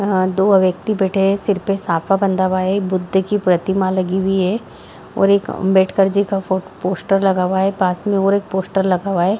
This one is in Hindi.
यहाँ दो व्यक्ति बैठे हुए हैं सर पर साफा बंधा हुआ है बुद्ध की प्रतिमा लगी हुई है और एक आंबेडकर जी का फो पोस्टर लगा हुआ है पास में और पोस्टर लगा हुआ है।